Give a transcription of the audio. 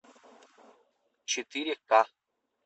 четыре ка